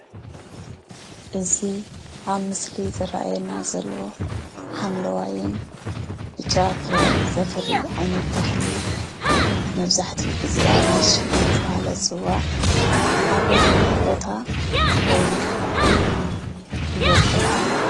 እዚ ኣብ ምስሊ ዝርአየና ዘሎ ሓምለዋይን ብጫ ፍረ ዘፍሪ ዓይነት ተኽሊ መብዛሕትኡ ግዜ ኣራንሺ እናተባህለ ዝፅዋዕ ኣበየናይ ቦታ ወይም ከባቢ ይቦቅል?